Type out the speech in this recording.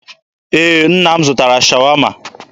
Ee, nna m zụtara Shawama.